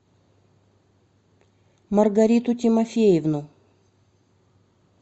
маргариту тимофеевну